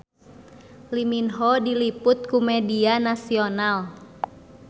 Lee Min Ho diliput ku media nasional